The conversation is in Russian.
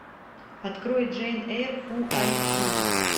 открой джейн эйр фул айч ди